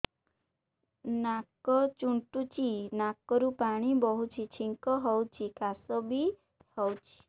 ନାକ ଚୁଣ୍ଟୁଚି ନାକରୁ ପାଣି ବହୁଛି ଛିଙ୍କ ହଉଚି ଖାସ ବି ହଉଚି